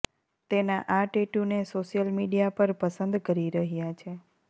તેના આ ટેટુને સોશિયલ મીડિયા પર પસંદ કરી રહ્યા છે